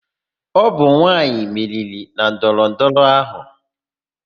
Ọ bụ nwaanyị meriri na ndọrọ ndọrọ áhụ.